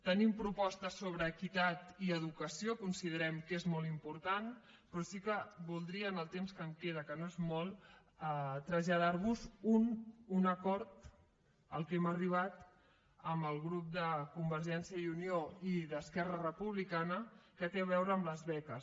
tenim propostes sobre equitat i educació considerem que és molt important però sí que voldria amb el temps que em queda que no és molt traslladar vos un acord a què hem arribat amb els grups de convergència i unió i d’esquerra republicana que té a veure amb les beques